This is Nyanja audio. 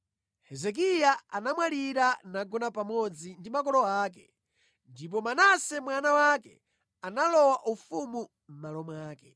Hezekiya anamwalira nagona pamodzi ndi makolo ake. Ndipo Manase mwana wake analowa ufumu mʼmalo mwake.